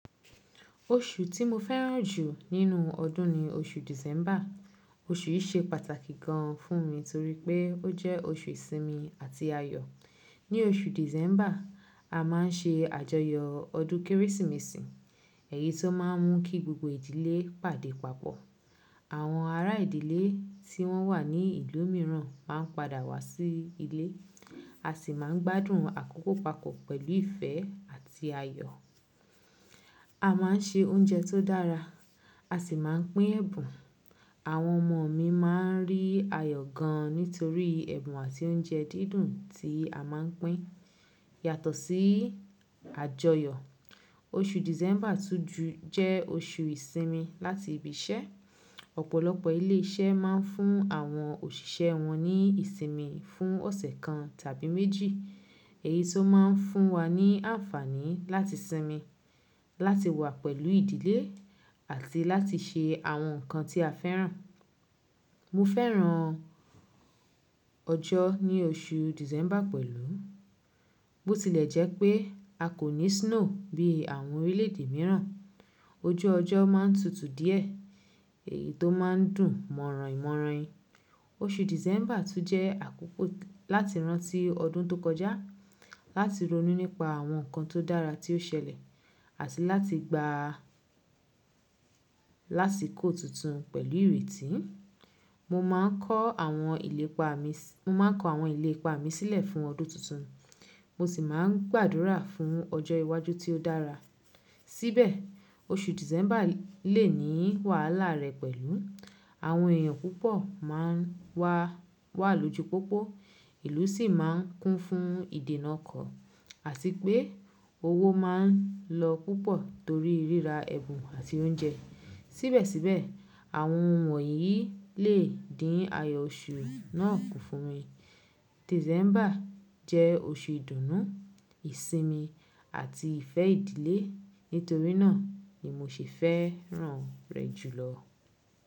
Oṣù tí mo fẹ́ràn jù nínú ọdún ni oṣù December. Oṣù yìí ṣe pàtàkì gan fún mi torí pé ó jẹ́ oṣù ìsinmi àti ayọ. Ni oṣù December, a má n ṣe àjọyọ ọdún Kérésìmesì, èyí tó má n mú kí gbogbo ìdílé pàdé papọ. Àwọn ará ìdílé tí wọ́n wà ní ìlú mìíràn má n padà wá sí ilé. A sì má n gbádùn àkókò papọ̀ pẹ̀lú ìfẹ́ àti ayọ. A má n se oúnjẹ tó dára, a sì má n pín ẹ̀bùn. Àwọn ọmọ mi má n rí ayọ gan nitorí ẹ̀bùn àti oúnjẹ dídùn tí a má n pín. Yàtọ̀ sí àjọyọ̀, oṣù December tún jẹ́ oṣù ìsinmi láti ibi iṣẹ́. Ọ̀pọ̀lọpọ̀ ilé iṣẹ́ má n fún àwọn òṣìṣẹ́ wọn ní ìsinmi fún ọ̀sẹ̀ kan tàbí méjì, èyí tó má n fún wa ní àǹfààní láti sinmi, láti wà pẹ̀lú ìdílé àti láti ṣe àwọn nǹkan tí a fẹ́ràn. Mo fẹ́ràn ọjọ́ ní oṣù December pẹ̀lú. Bó tilẹ̀ jẹ́ pé a kò ní snow bí àwọn orílẹ̀èdè mìíràn, ojú ọjọ́ má n tutù díẹ̀, èyí tó má n dùn mọ̀rànyimọ̀rànyi. Oṣù December tún jẹ́ àkókò láti rántí ọdún tó kọjá, láti ronú nípa àwọn nǹkan tó dára tí ó ṣẹlẹ̀, àti láti gbá lásìkò tuntun pẹ̀lú ìrètí. Mo má n kọ àwọn ìlépa mi sílẹ̀ fún ọdún tuntun, mo sì má n gbàdúrà fún ọjọ́ iwájú tí ó dára. Síbẹ̀, oṣù December lè ní wàhálà rẹ̀ pẹ̀lú. Àwọn èèyàn púpọ̀ má n wà lójú pópó, ìlú sì má n kún fún ìdènà ọkọ̀, àti pé owó má n lọ púpọ̀ torí ríra ẹ̀bùn àti oúnjẹ. Síbẹ̀síbẹ̀, àwọn ohun wọ̀nyí lè dín ayọ̀ oṣù náà kún fún mi. December jẹ́ oṣù ìdùnnú, ìsinmi àti ìfẹ́ ìdílé, nítorí náà ni mo ṣe fẹ́ràn rẹ̀ jùlọ.